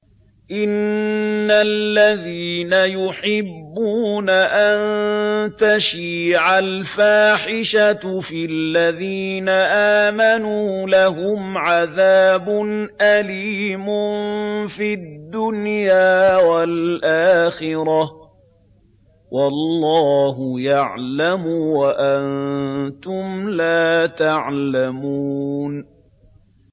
إِنَّ الَّذِينَ يُحِبُّونَ أَن تَشِيعَ الْفَاحِشَةُ فِي الَّذِينَ آمَنُوا لَهُمْ عَذَابٌ أَلِيمٌ فِي الدُّنْيَا وَالْآخِرَةِ ۚ وَاللَّهُ يَعْلَمُ وَأَنتُمْ لَا تَعْلَمُونَ